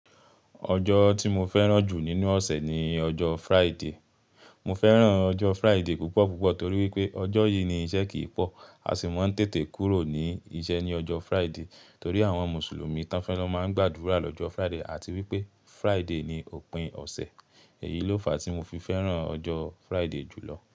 Ọjọ́ tí mo fẹ́ràn jù nínú ọ̀sẹ̀ ni ọjọ́ Friday. Mo fẹ́ràn ọjọ́ Friday púpọ̀ púpọ̀ torí pé ọjọ́ yìí ni iṣẹ́ kì í pọ̀, a sì máa ń tètè kúrò ní iṣẹ́ ní ọjọ́ Friday torí àwọn Mùsùlùmí tán fe lo máa ń gbàdúrà lọ́jọ́ Friday àti wí pé Friday ni òpin ọ̀sẹ̀. Èyí ló fàá tí mo fi fẹ́ran ọjọ́ Friday jùlọ